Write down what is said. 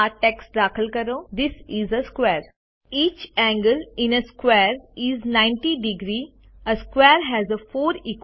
આ ટેક્સ્ટ દાખલ કરો this is a square a square has four equal sides and four equal angles